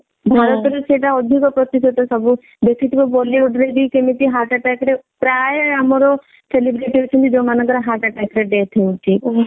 ଭରତ ରେ ସେଇଟା ଅଧିକ ପ୍ରତିଶତ ସବୁ ଦେଖିଥିବେ bollywood ରେ ବି କେମିତି heart attack ରେ ପ୍ରାୟ ଆମର celebrity ଅଛନ୍ତି ଯାଉମାନଙ୍କ ର heart attack ରେ death ହଉଛି।